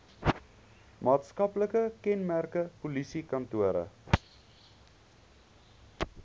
maatskaplike kenmerke polisiekantore